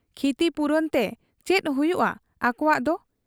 ᱠᱷᱤᱛᱤᱯᱩᱨᱚᱱ ᱛᱮ ᱪᱮᱫ ᱦᱩᱭᱩᱜ ᱟ ᱟᱠᱚᱣᱟᱜ ᱫᱚ ?